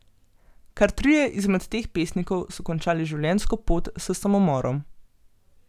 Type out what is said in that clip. Kar trije izmed teh pesnikov so končali življenjsko pot s samomorom.